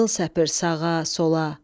qızıl səpir sağa, sola.